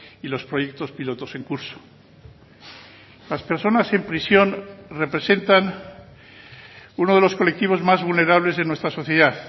y los proyectos pilotos en curso las personas en prisión representan uno de los colectivos más vulnerables de nuestra sociedad